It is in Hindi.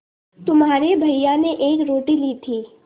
तुम्हारे भैया ने एक रोटी ली थी